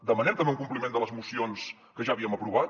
demanem també un compliment de les mocions que ja havíem aprovat